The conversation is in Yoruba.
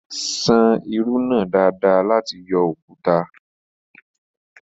San irú náà dáadáa láti yọ òkúta.